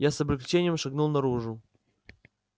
я с облегчением шагнул наружу